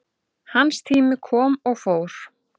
Hans tími kom og fór